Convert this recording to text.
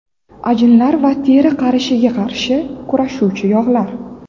Ajinlar va teri qarishiga qarshi kurashuvchi yog‘lar.